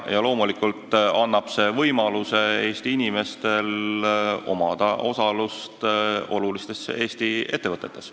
Loomulikult annab see Eesti inimestele võimaluse omada osalust olulistes Eesti ettevõtetes.